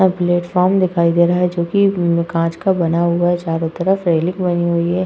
या प्लेटफार्म दिखाई दे रहा है जोकि कांच का बना हुआ है चारो तरफ रेलिंग बनी हुई है।